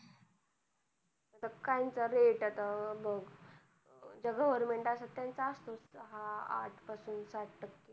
पण काहींचा rate आता बघ ज्या government असतात, त्यांचा असतो. सहा, आठ पासून सात टक्के व्याज.